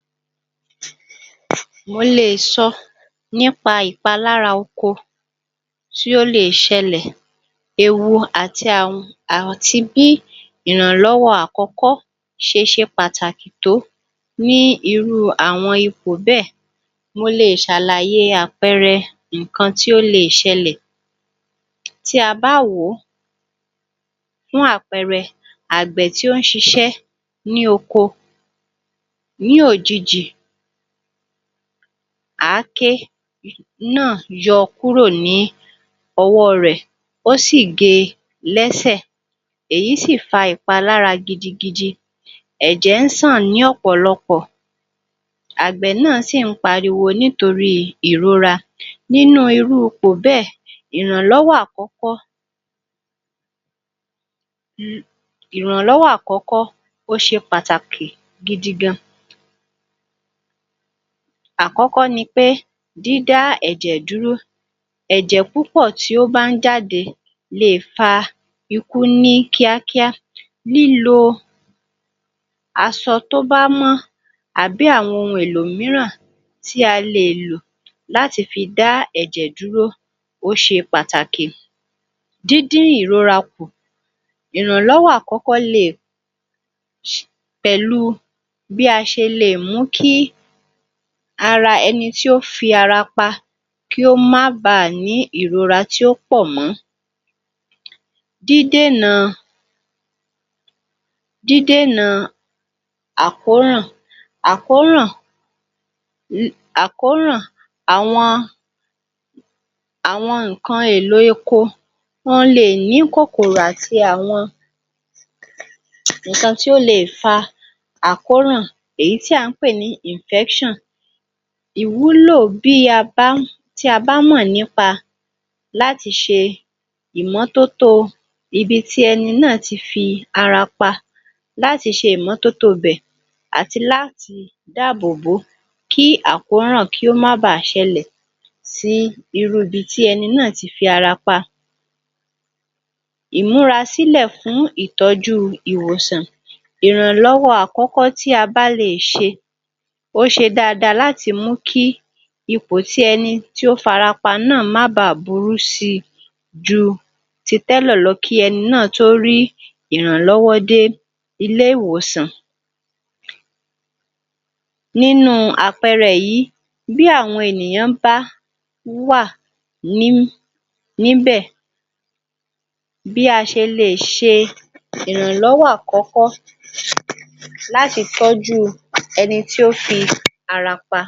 um mo le è sọ nípa ìpalára oko tí ó le è ṣẹlẹ̀, ewu àti bí ìrànlọ́wọ́ àkọ́kọ́ ṣe ṣe pàtàkì tó ní irú àwọn ipò bẹ́ẹ̀. Mo le è ṣàlàyé àpẹẹrẹ nǹkan tí ó le è ṣẹlẹ̀. Tí a bá wòó, fún àpẹẹrẹ, àgbẹ̀ tí ó ń ṣiṣẹ́ ní oko ní òjijì, àáké náà yọ kúrò ní ọwọ́ rẹ̀, ó sì ge lẹ́sẹ̀, èyí sì fa ìpalára gidigidi, ẹ̀jẹ̀ ń ṣàn ní ọ̀pọ̀lọpọ̀. Àgbẹ̀ náà sì ń pariwo nítorí ìrora nínú irú ipò bẹ́ẹ̀, ìrànlọ́wọ́ àkọ́kọ́ um ìrànlọ́wọ́ àkọ́kọ́ ó ṣe pàtàkì gidi gan. Àkọ́kọ́ ni pé dídá ẹ̀jẹ̀ dúró. ẹ̀jẹ̀ púpọ̀ tí ó bá ń jáde lè fa ikú ní kíákíá. Lílo aṣọ tó bá mọ́ àbí àwọn ohun èlò mìíràn tí a lè lò láti fi dá ẹ̀jẹ̀ dúró ó ṣe pàtàkì. Díndín ìrora kù, ìrànlọ́wọ́ àkọ́kọ́ le è um pẹ̀lú bí a ṣe lè mú kí ara ẹni tí ó fi ara pa kíh ó máa bà ní ìrora tí ó pọ̀ mọ́. Dídènà dídènà àkóràn àkóràn um àkóràn àwọn àwọn nǹkan èlò eko wọ́n le è ní kòkòrò àti àwọn um nǹkan tí ó le è fa àkóràn èyí tí à ń pè ní infection. Ìwúlò bí a bá, tí a bá mọ̀ nípa láti ṣe ìmọ́tótó ibi tí ẹni náà ti fi ara pa láti ṣe ìmọ́tótó ibẹ̀ àti láti dáàbòbó kí àkóràn kí ó má bàá ṣẹlẹ̀ sí irú ibi tí ẹni náà ti fi ara pa. Ìmúrasílẹ̀ fún ìtọ́jú ìwòsàn, ìrànlọ́wọ́ àkọ́kọ́ tí a bá le è ṣe, ó ṣe dáadáa láti mú kí ipò tí ẹni tí ó farapa náà má bàá burú si ju ti tẹ́lẹ̀ lọ kí ẹni náà tó rí ìrànlọ́wọ́ dé ilé ìwòsàn. Nínú àpẹẹrẹ yìí, bí àwọn ènìyàn bá wà ní níbẹ̀ bí a ṣe le è ṣe ìrànlọ́wọ́ àkọ́kọ́ um láti tọ́jú ẹni tí ó fi ara pa.